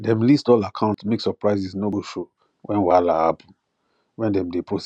dem list all accounts make surprises no go show when whahala happen when dem dey process house matter